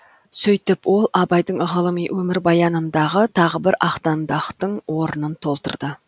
сөйтіп ол абайдың ғылыми өмірбаянындағы тағы бір ақтаңдақтың орынын толтырды